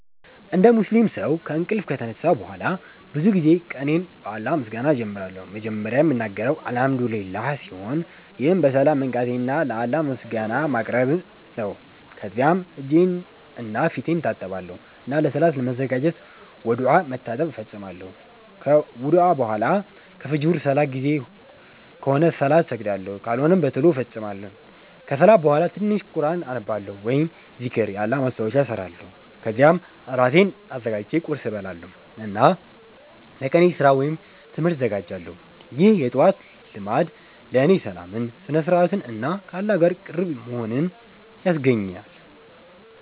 እንደ ሙስሊም ሰው ከእንቅልፍ ከተነሳሁ በኋላ ብዙ ጊዜ ቀኔን በአላህ ምስጋና እጀምራለሁ። መጀመሪያ የምናገረው “አልሐምዱሊላህ” ሲሆን ይህም በሰላም መንቃቴን ለአላህ ምስጋና ማቅረብ ነው። ከዚያም እጄንና ፊቴን እታጠባለሁ እና ለሰላት ለመዘጋጀት ውዱእ (መታጠብ) እፈጽማለሁ። ከውዱእ በኋላ ከፍጅር ሰላት ጊዜ ከሆነ ሰላት እሰግዳለሁ፣ ካልሆነም በቶሎ እፈጽማለሁ። ከሰላት በኋላ ትንሽ ቁርኣን አነባለሁ ወይም ዚክር (የአላህ ማስታወሻ) እሰራለሁ። ከዚያም እራሴን አዘጋጅቼ ቁርስ እበላለሁ እና ለቀኔ ስራ ወይም ትምህርት እዘጋጃለሁ። ይህ የጠዋት ልማድ ለእኔ ሰላምን፣ ስነ-ስርዓትን እና ከአላህ ጋር ቅርብ መሆንን ያስገኛል።